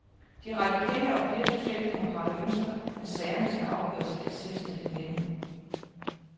De radikale og flere socialdemokrater ønsker, at sagerne skal afgøres af et selvstændigt nævn.